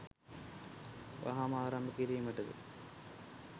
වහාම ආරම්භ කිරීමටද